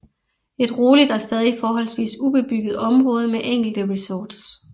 Et roligt og stadig forholdsvis ubebygget område med enkelte resorts